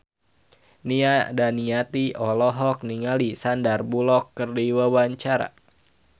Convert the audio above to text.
Nia Daniati olohok ningali Sandar Bullock keur diwawancara